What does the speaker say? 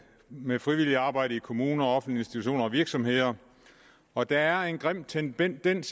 med frivilligt arbejde i kommuner offentlige institutioner og virksomheder og der er en grim tendens